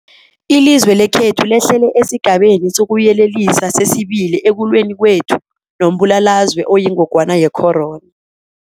Ilizwe lekhethu lehlele esiGabeni sokuYelelisa sesi-2 ekulweni kwethu nombulalazwe oyingogwana ye-corona.